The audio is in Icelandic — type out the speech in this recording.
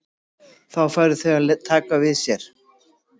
Þá færu þau að taka við sér.